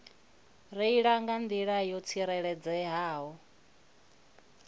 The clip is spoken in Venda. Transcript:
reila nga nḓila yo tsireledzeaho